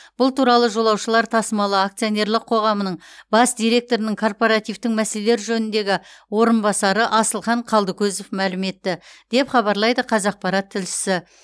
бұл туралы жолаушылар тасымалы акционерлік қоғамының бас директорының корпоративтің мәселелер жөніндегі орынбасары асылхан қалдыкозов мәлім етті деп хабарлайды қазақпарат тілшісі